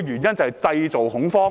就是製造恐慌。